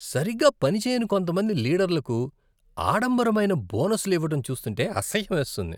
సరిగా పనిచేయని కొంతమంది లీడర్లకు ఆడంబరమైన బోనస్లు ఇవ్వటం చూస్తుంటే అసహ్యమేస్తుంది.